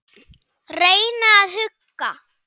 Reyna að hugga.